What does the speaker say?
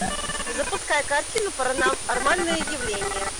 запускай картину паранормальное явление